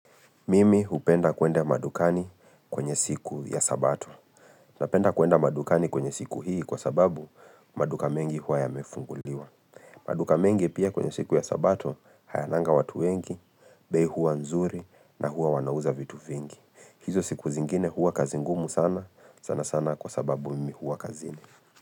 Mimi hupenda kuenda madukani kwenye siku ya sabato. Napenda kuenda madukani kwenye siku hii kwa sababu maduka mengi hua yamefunguliwa. Maduka mengi pia kwenye siku ya sabato hayananga watu wengi, bei huwa nzuri na huwa wanauza vitu vingi. Hizo siku zingine hua kazi ngumu sana sana sana kwa sababu mimi hua kazini.